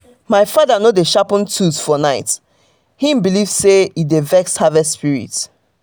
my father no dey sharpen tools for night - him believe say e dey vex harvest spirit.